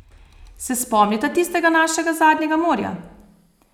Se spomnita tistega našega zadnjega morja?